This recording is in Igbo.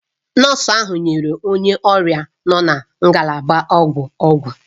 Nọọsụ ahụ nyere onye ọrịa nọ na ngalaba ọgwụ ọgwụ.